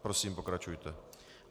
Prosím, pokračujte.